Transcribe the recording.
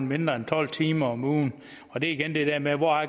mindre end tolv timer om ugen og det er igen det der med hvor